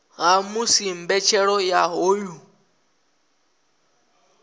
ha musi mbetshelo ya hoyu